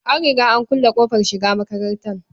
An riga an kulle ƙofar shiga makatanta.